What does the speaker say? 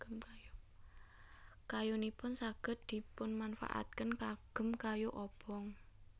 Kayunipun saged dipunmanfaataken kagem kayu obong